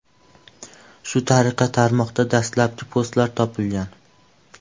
Shu tariqa tarmoqda dastlabki postlar topilgan.